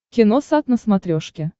киносат на смотрешке